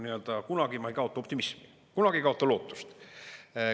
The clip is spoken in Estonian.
Aga kunagi ma ei kaota optimismi, kunagi ei kaota lootust.